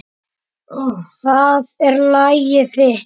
Það er lagið þitt.